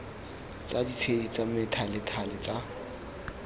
tsa ditshedi tsa methalethale tsa